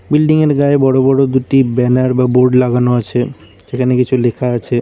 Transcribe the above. Building -এর গায়ে বড় বড় দুটি ব্যানার বা বোর্ড লাগানো আছে যেখানে কিছু লেখা আছে।